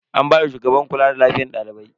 An bani shugabar kula da lafiyan dalibai.